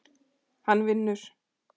Hann vinur.